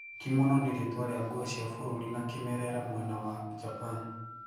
Kimono ni ritwa ria guo cia bũrũrĩ na kimerera mwena wa Japan.